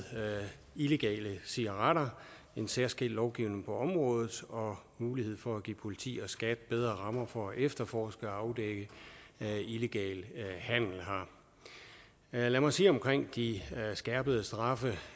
illegale cigaretter en særskilt lovgivning på området og mulighed for at give politi og skat bedre rammer for at efterforske og afdække illegal handel her lad mig sige om de skærpede straffe